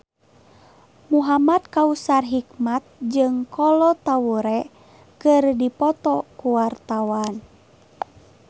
Muhamad Kautsar Hikmat jeung Kolo Taure keur dipoto ku wartawan